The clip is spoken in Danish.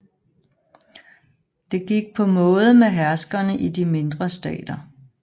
Det gik på måde med herskerne i de mindre stater